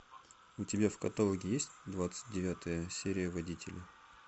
у тебя в каталоге есть двадцать девятая серия водителя